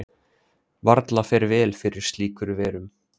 varla fer vel fyrir slíkur verum